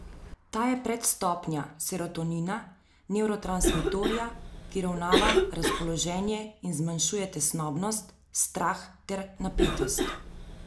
Ta je predstopnja serotonina, nevrotransmitorja, ki uravnava razpoloženje in zmanjšuje tesnobnost, strah ter napetost.